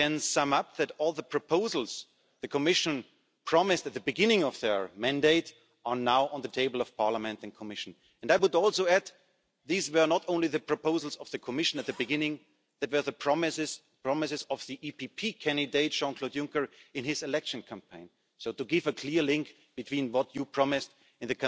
and Croatia in the same way. All three countries must have the right to join the Schengen area immediately. I want to underline this again. A second point for a people's Europe is a Europe of democracy. That's why I thank you for the initiatives to make our European elections safe. Neither